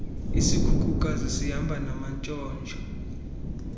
isikhukukazi sihamba namantshontsho